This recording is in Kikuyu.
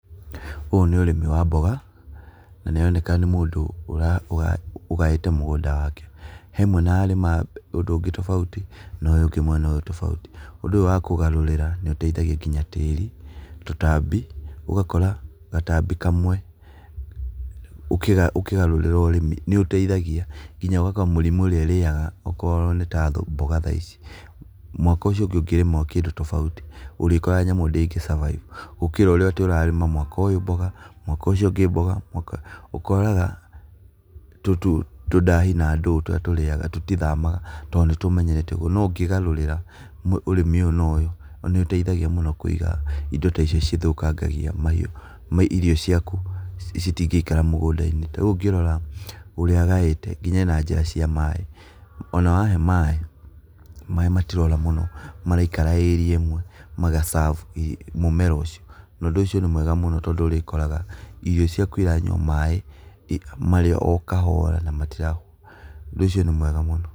Ũyũ nĩ ũrĩmi wa mboga, na nĩ aroneka nĩ mũndũ ũgaĩĩte mũgũnda wake. He mwena ararĩma ũndũ ũngĩ tofauti no ũyũ ũngĩ mwena tofauti, ũndũ ũyũ wa kũgarũrĩra nĩũteithagia nginya tĩri, tũtambi, ũgakora gatambi kamwe ũkĩgarũrĩra ũrĩmi nĩũteithagia, nginya ũgakora mĩrimũ ĩrĩa ĩrĩaga okorwo nĩ ta mboga thaa ici, mwaka ũcio ũngĩ ũngĩrĩma tofauti ũrĩkoraga nyamũ ĩyo ndĩngĩ survive, gũkĩra rĩrĩa ũrarĩma atĩ mwaka ũyũ mboga mwaka ũcio ũngĩ mboga, ũkoraga tũdahi na ndũũ tũrĩatũrĩaga tũtithamaga, tondũ nĩtũmenyerete ũguo. No ũngĩgarũrĩra ũrĩmi ũyũ na ũyũ nĩũteithagia mũno Kũiga indo ta icio cithũkangagia mahiũ, irio ciaku citingĩikara mũgũndai-inĩ. Ta riu ũngirora ũrĩa agaĩte nginya ee na njĩra cia maĩ. Ona wahe maĩ, maĩ matirora mũno maraikara area imwe maga serve mũmera ũcio. Na ũndũ ũcio nĩ mwega mũno, tondũ ũrĩkoraga irio ciaku iranyua maĩ, marĩa o kahora na matirahũa, ũndũ ũcio nĩ mwega mũno.